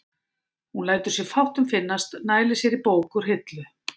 Hún lætur sér fátt um finnast, nælir sér í bók úr hillu.